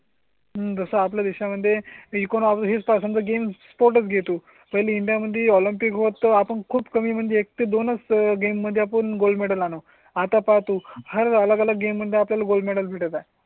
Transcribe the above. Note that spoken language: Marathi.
हम्म तसं आपल्या देशा मध्ये एकोणावीस पासून तर गेम स्पोर्ट्स घेतो. पहिली इंडिया मध्ये ऑलिम्पिक होता आपण खूप कमी म्हणजे एक ते दोन गेम मध्ये आपण गोल्ड मेडल म्हणून आता पाहतो. हर अलग अलग गेम मध्ये आपल्या ला गोल्ड मेडल भेटत आहे.